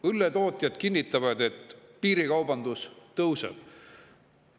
Õlletootjad, et piirikaubandus kasvab.